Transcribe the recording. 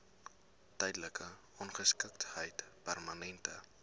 tydelike ongeskiktheid permanente